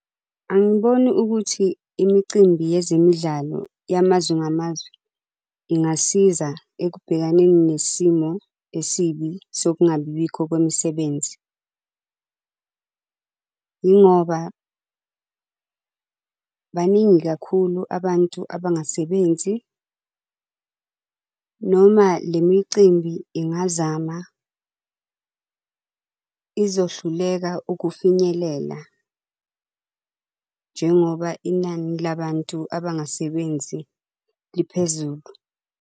Angiboni ukuthi imicimbi yezemidlalo yamazwe ngamazwe ingasiza ekubhekaneni nesimo esibi sokungabibikho kwemisebenzi. Yingoba baningi kakhulu abantu abangasebenzi. Noma lemicimbi ingazama, izohluleka ukufinyelela njengoba inani labantu abangasebenzi liphezulu.